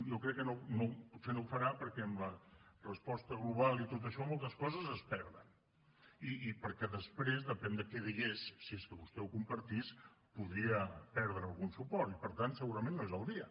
jo crec que potser no ho farà perquè amb la resposta global i tot això moltes coses es perden i perquè després depèn de què digués si és que vostè ho compartís podria perdre algun suport i per tant segurament no és el dia